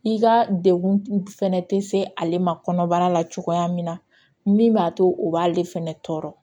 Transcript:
I ka degun fɛnɛ tɛ se ale ma kɔnɔbara la cogoya min na min b'a to o b'ale fɛnɛ tɔɔrɔ